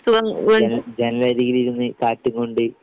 ജന ജനലരികിലിരുന്ന് കാറ്റും കൊണ്ട്